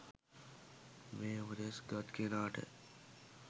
මේ උපදෙස් ගත් කෙනාට